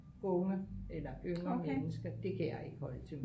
unge eller yngre mennesker det kan jeg ikke holde til